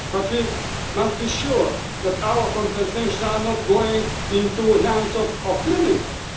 But we must be sure that our compensation is not going into the hands of